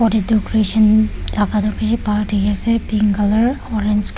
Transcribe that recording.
thaka tuh bishi pink colour orange colour --